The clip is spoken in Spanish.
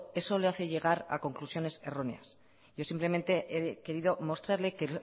eso le hace llegar a conclusiones erróneas yo simplemente he querido mostrarle que